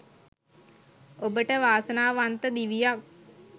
ඔබට වාසනාවන්ත දිවියක්